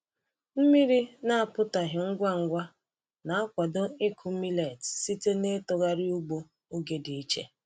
Mmiri na-apụtaghị ngwa ngwa na-akwado ịkụ millet site n’itughari ugbo oge dị iche.